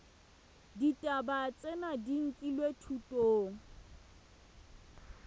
ditaba tsena di nkilwe thutong